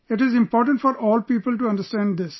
It is important for all people to understand this